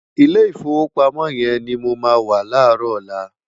Ilé Ifówópámò yèn ni mó má wá láròlá